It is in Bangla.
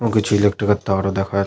ও কিছু ইলেক্ট্রিক এর তার ও দেখা --